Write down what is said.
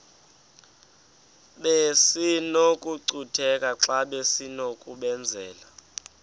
besinokucutheka xa besinokubenzela